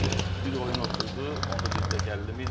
Bir bir oyun oturdu, onda dedilər ki, 50 min.